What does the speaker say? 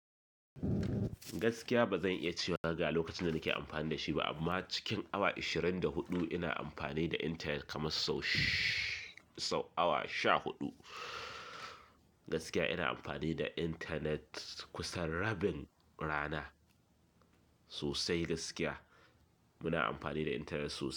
Gaskiya ba zan iya cewa gaga lokacin da nake amfani da shi ba, amma cikin awa ashirin da huɗu ina amfani da intanet kamar sau shi-- sau awa sha huɗu. Gaskiya ina amfani da intanet kusan rabin rana sosai gaskiya. Muna amfani da intanet sosai.